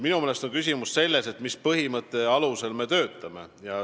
Minu meelest on küsimus selles, mis põhimõtte alusel me töötame.